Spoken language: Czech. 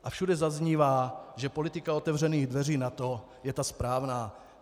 A všude zaznívá, že politika otevřených dveří NATO je ta správná.